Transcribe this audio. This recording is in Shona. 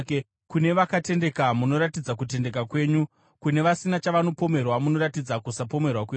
“Kune vakatendeka munoratidza kutendeka kwenyu, kune vasina chavanopomerwa munoratidza kusapomerwa kwenyu,